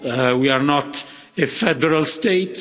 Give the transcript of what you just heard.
We are not a federal state.